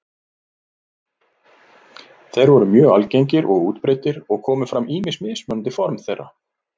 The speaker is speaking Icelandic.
Þeir voru mjög algengir og útbreiddir og komu fram ýmis mismunandi form þeirra.